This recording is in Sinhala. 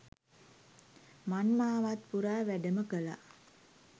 මංමාවත් පුරා වැඩම කළා